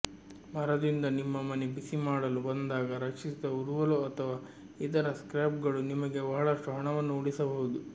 ಮರದಿಂದ ನಿಮ್ಮ ಮನೆ ಬಿಸಿಮಾಡಲು ಬಂದಾಗ ರಕ್ಷಿಸಿದ ಉರುವಲು ಅಥವಾ ಇತರ ಸ್ಕ್ರ್ಯಾಪ್ಗಳು ನಿಮಗೆ ಬಹಳಷ್ಟು ಹಣವನ್ನು ಉಳಿಸಬಹುದು